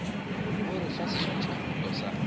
o re fa seswantšhokgopolo sa